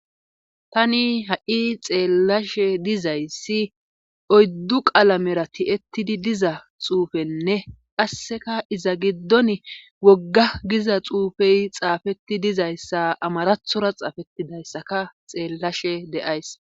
Tani ha'i xeellashe dizayssi oyddu qalamera ti'ettidi diza xuufenne qasseka iza giddon wogga giza xuufey xaafetti dizayssa amarathora xaafettidayssaka xeellashe deays